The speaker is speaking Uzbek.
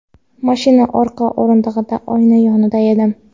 Mashina orqa o‘rindig‘ida oyna yonida edim.